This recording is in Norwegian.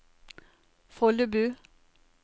Follebu